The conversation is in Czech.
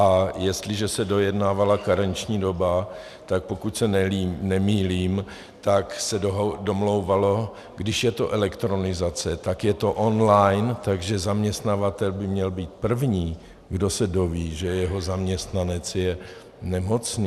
A jestliže se dojednávala karenční doba, tak pokud se nemýlím, tak se domlouvalo, když je to elektronizace, tak je to online, takže zaměstnavatel by měl být první, kdo se dozví, že jeho zaměstnanec je nemocný.